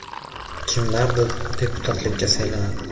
Kimlardir deputatlikka saylanadi.